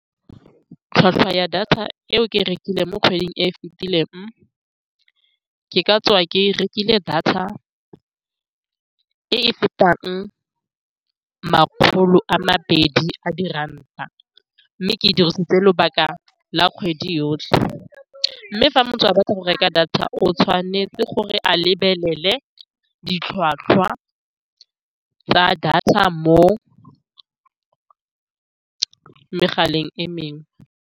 Tlhwatlhwa ya data eo ke rekileng mo kgweding e e fitileng, ke ka tswa ke rekile data e e fetang makgolo a mabedi a di ranta, mme ke e dirisitse lobaka la kgwedi yotlhe. Mme fa motho a batla go reka data, o tshwanetse gore a lebelele ditlhwatlhwa tsa data mo megaleng e mengwe.